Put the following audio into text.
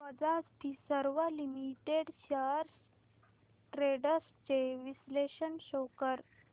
Bajaj Finserv limited shares trends चे विश्लेषण show कर